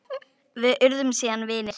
Við urðum síðan vinir.